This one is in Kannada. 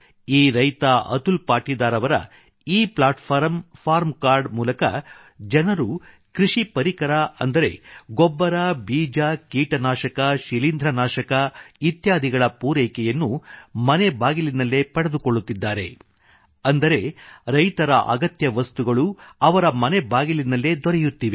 ಈ ರೈತ ಅತುಲ್ ಪಾಟೀದಾರ್ ಅವರ e platform farm card e platform farm card ಮೂಲಕ ಜನರು ಕೃಷಿ ಪರಿಕರ ಅಂದರೆ ಗೊಬ್ಬರ ಬೀಜ ಕೀಟನಾಶಕ ಶೀಲೀಂಧ್ರನಾಶಕ ಇತ್ಯಾದಿಗಳ ಪೂರೈಕೆಯನ್ನು ಮನೆ ಬಾಗಿಲಿನಲ್ಲೇ ಪಡೆದುಕೊಳ್ಳುತ್ತಿದ್ದಾರೆ ಅಂದರೆ ರೈತರ ಅಗತ್ಯ ವಸ್ತುಗಳು ಅವರ ಮನೆ ಬಾಗಿಲಿನಲ್ಲೇ ದೊರೆಯುತ್ತಿವೆ